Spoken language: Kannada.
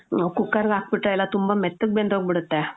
ಕುಕ್ಕರ್ಗ್ ಹಾಕ್ಬಿಟ್ರೆ ಎಲ್ಲ ತುಂಬ ಮೆತ್ತಗ್ ಬೆಂದ್ಹೋಗ್ ಬಿಡತ್ತೆ.